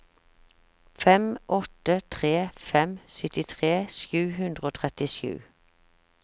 fem åtte tre fem syttitre sju hundre og trettisju